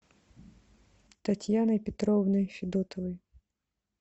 татьяной петровной федотовой